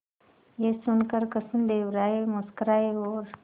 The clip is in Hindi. यह सुनकर कृष्णदेव राय मुस्कुराए और